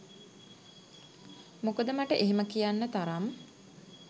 මොකද මට එහෙම කියන්න තරම්